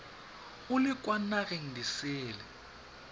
o le kwa nageng disele